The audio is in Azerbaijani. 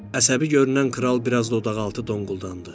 Əsəbi görünən kral biraz dodaqaltı donquldandı.